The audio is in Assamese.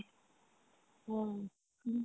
অ, উম